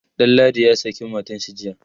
Danladi ya saki matanshi jiya